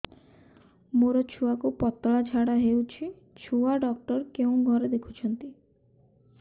ମୋର ଛୁଆକୁ ପତଳା ଝାଡ଼ା ହେଉଛି ଛୁଆ ଡକ୍ଟର କେଉଁ ଘରେ ଦେଖୁଛନ୍ତି